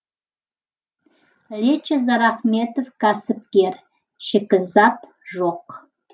лечо зарахметов кәсіпкер шикізат жоқ